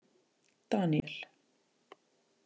Daníel